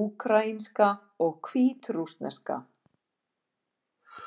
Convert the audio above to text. úkraínska og hvítrússneska.